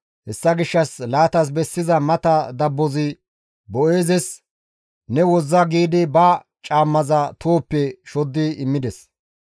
Hessa gishshas laatas bessiza mata dabbozi Boo7eezes, «Ne wozza» giidi ba caammaza tohoppe shoddi immides.